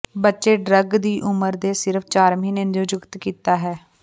ਬੱਚੇ ਡਰੱਗ ਦੀ ਉਮਰ ਦੇ ਸਿਰਫ ਚਾਰ ਮਹੀਨੇ ਨਿਯੁਕਤ ਕੀਤਾ ਹੈ